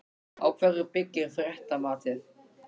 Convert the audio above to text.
Á hverju byggir fréttamatið?